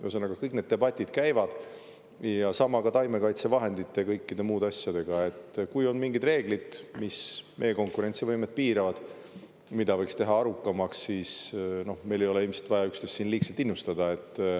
Ühesõnaga, kõik need debatid käivad ja sama ka taimekaitsevahendite ja kõikide muude asjadega, et kui on mingid reeglid, mis meie konkurentsivõimet piiravad, mida võiks teha arukamaks, siis meil ei ole ilmselt vaja üksteist siin liigselt innustada.